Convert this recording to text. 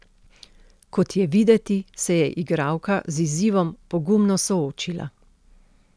Kot je videti, se je igralka z izzivom pogumno soočila.